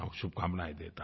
शुभकामनायें देता हूँ